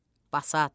Basat.